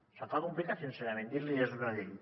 se’m fa complicat sincerament dir li és una llei